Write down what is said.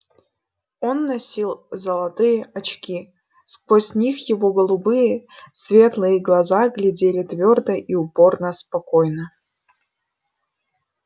он носил золотые очки сквозь них его голубые светлые глаза глядели твёрдо и упорно спокойно